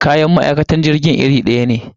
Kayan ma'aikatan jirgin irin daya ne.